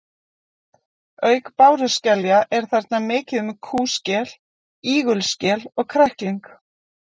Auk báruskelja er þarna mikið um kúskel, ígulskel og krækling.